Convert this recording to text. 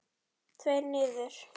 Tveir niður.